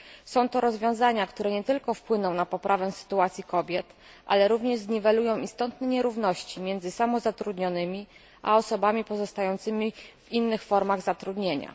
Są to rozwiązania, które nie tylko wpłyną na poprawę sytuacji kobiet, ale również zniwelują istotne nierówności między samozatrudnionymi a osobami pozostającymi w innych formach zatrudnienia.